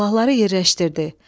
Silahları yerləşdirdi.